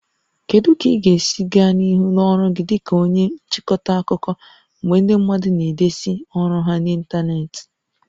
Kedu ka ị ga-esi gaa n'ihu n'ọrụ gị dị ka onye nchịkọta akụkọ mgbe ndị mmadụ na-edezi ọrụ ha n'ịntanetị?